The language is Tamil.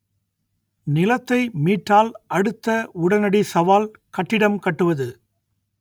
நிலத்தை மீட்டால் அடுத்த உடனடி சவால் கட்டிடம் கட்டுவது